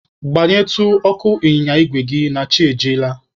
Gbanyetụ ọkụ ịnyịnya igwe gị a na chi ejiela.